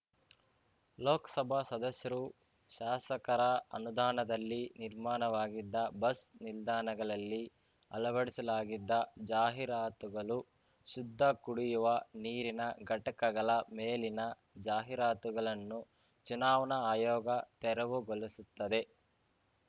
ಲೋಕ್ ಸಭಾ ಸದಸ್ಯರು ಶಾಸಕರ ಅನುದಾನದಲ್ಲಿ ನಿರ್ಮಾಣವಾಗಿದ್ದ ಬಸ್ ನಿಲ್ದಾಣಗಲಲ್ಲಿ ಅಲವಡಿಸಲಾಗಿದ್ದ ಜಾಹೀರಾತುಗಲು ಶುದ್ಧ ಕುಡಿಯುವ ನೀರಿನ ಘಟಕಗಲ ಮೇಲಿನ ಜಾಹೀರಾತುಗಲನ್ನು ಚುನಾವಣಾ ಆಯೋಗ ತೆರವುಗೊಲಿಸುತ್ತಿದೆ